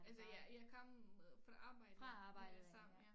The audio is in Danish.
Altså jeg jeg kom fra arbejde med det samme ja